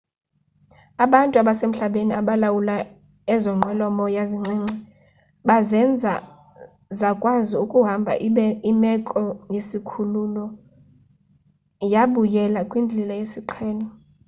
abantu abasemhlabeni abalawula ezo nqwelo-moya zincinci bazenza zakwazi ukuhamba ibe imeko yesikhululo yabuyela kwindlela yesiqhelo